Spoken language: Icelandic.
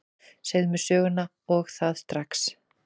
Segðu mér söguna, og það strax.